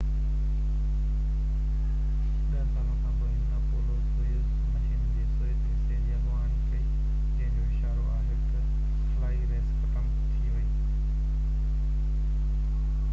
ڏه سالن کانپوءِ هن اپولو-سويوز مشن جي سويت حصي جي اڳواڻي ڪئي جنهن جو اشارو آهي تہ خلائي ريس ختم ٿي ويئي